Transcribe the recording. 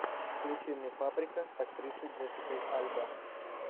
включи мне паприка с актрисой джессикой альба